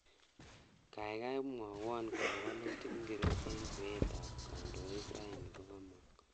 Gaigai mwowon kole walutik ngircho eng kweetab kandoinik raini kogagomong